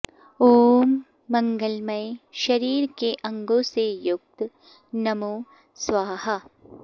ॐ मङ्गलमय शरीर के अङ्गो से युक्त नमो स्वाहा